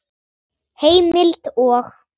Heimild og